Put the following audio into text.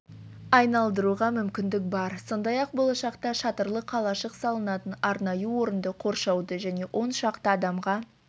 айналдыруға мүмкіндік бар сондай-ақ болашақта шатырлы қалашық салынатын арнайы орынды қоршауды және он шақты адамға